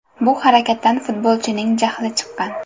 Bu harakatdan futbolchining jahli chiqqan.